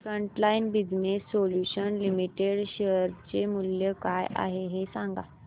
frontline business solutions limited share चे मूल्य काय आहे हे सांगा